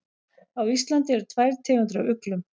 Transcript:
Á Íslandi eru tvær tegundir af uglum.